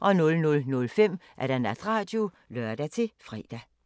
00:05: Natradio (lør-fre)